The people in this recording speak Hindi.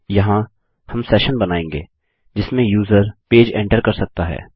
यहाँ हम सेशन बनायेंगे जिसमें यूजर पेज एंटर कर सकता है